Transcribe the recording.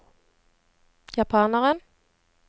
japaneren